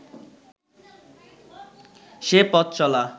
সে পথ-চলা